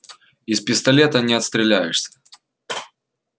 из пистолета не отстреляешься